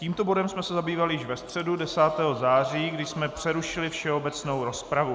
Tímto bodem jsme se zabývali již ve středu 10. září, kdy jsme přerušili všeobecnou rozpravu.